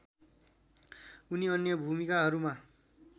उनी अन्य भूमिकाहरूमा